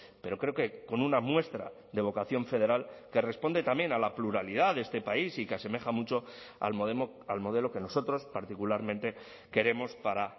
pero creo que con una muestra de vocación federal que responde también a la pluralidad de este país y que asemeja mucho al modelo que nosotros particularmente queremos para